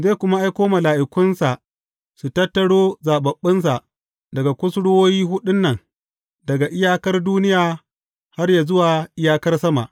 Zai kuma aiko mala’ikunsa su tattaro zaɓaɓɓunsa daga kusurwoyi huɗun nan, daga iyakar duniya har yă zuwa iyakar sama.